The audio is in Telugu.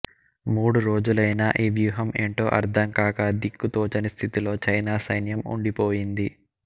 మూడు రోజులైనా ఈ వ్యూహం ఏంటో అర్థంకాక దిక్కుతోచని స్థితిలో చైనా సైన్యం ఉండిపోయింది